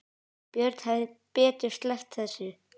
Björn hefði betur sleppt þessu.